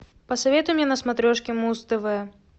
посоветуй мне на смотрешке муз тв